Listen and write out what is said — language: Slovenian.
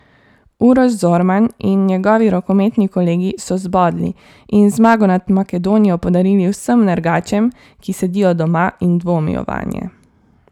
Uroš Zorman in njegovi rokometni kolegi so zbodli in zmago nad Makedonijo podarili vsem nergačem, ki sedijo doma in dvomijo vanje.